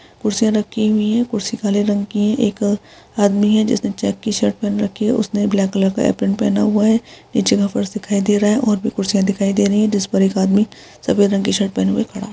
कुर्सियाँ रखी हुई है कुर्सी काले रंग की है एक आदमी है जिसने चेक की शर्ट पेहेन रखी है उसने ब्लैक कलर का पैंट पहना हुआ है नीचे का फर्श दिखाई दे रहा है और भी कुर्सियां दिखाई दे रही है जिस पर एक आदमी सफेद रंग की शर्ट पहने हुए खड़ा --